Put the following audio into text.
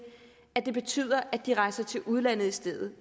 at det betyder at de rejser til udlandet i stedet